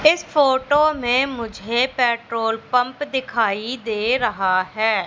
इस फोटो में मुझे पेट्रोल पंप दिखाई दे रहा हैं।